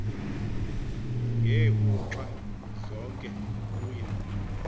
ngeeuxa zonke kuye